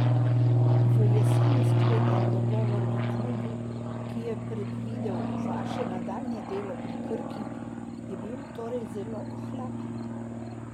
V jeseni sklenjen dogovor v klubu, ki je predvidel vaše nadaljnje delo pri Krki, je bil torej zelo ohlapen?